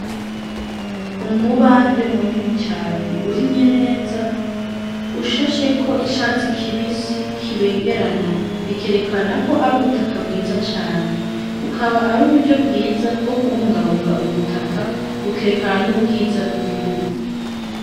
Umubande munini cane urimye neza, ushasheko icatsi kibisi kibengerana, bikerekana ko ari ubutaka bwiza cane. Bukaba ari uburyo bwiza bwo kubungabunga ubutaka, bukerekana n'ubwiza bw'igihugu.